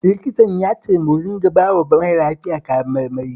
Likitan ya ce mu dinga bawa mara lafiyan kayan marmari